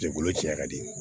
Jɛkulu ci ya di